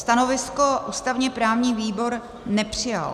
Stanovisko ústavně-právní výbor nepřijal.